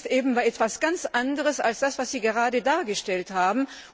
Und das ist etwas ganz anderes als das, was Sie gerade dargestellt haben.